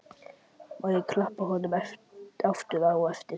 Má ég þá klappa honum aftur á eftir?